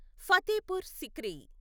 Fatehpur Sikri